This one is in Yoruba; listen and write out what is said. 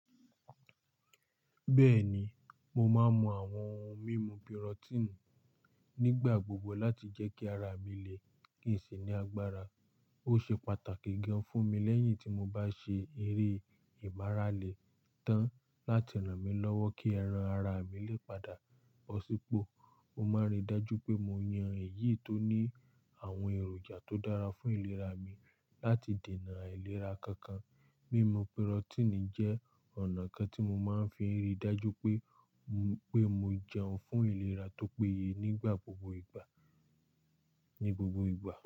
Bẹ́ẹ̀ni, mo máa ń mu àwọn ohun mímu pirotini nígbà gbogbo láti jẹ́ kí ara mi lè ṣì ní agbára. Ó ṣe pàtàkì gan fún mi lẹ́yìn tí mo bá ṣe eré ìmaarale tàn láti ràn mí lọ́wọ́ kí ẹran ara mi lè padà pọ̀ sípò. Mo máa ń rí i dájú pé mo yan èyí tó ní àwọn èròjà tó dára fún ìlera mi láti dènà àìlera kankan. Mimu proteini jẹ́ ọ̀nà kan tí mo máa ń fi rí i dájú pé, pé mo jẹun fún ìlera tó péye nígbà gbogbo ìgbà, ní gbogbo ìgbà.